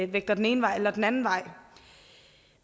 vægter den ene vej eller den anden vej